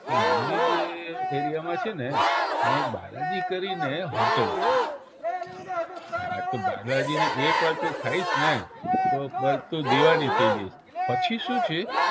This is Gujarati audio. કે મંદિર જે area માં છે ને ઈયા એક બાલાજી કરીને hotel છે હા તો બાલાજીની એક વાર તો તું ખાઈશ ને તો દીવાની થઇ જઈશ પછી શું છે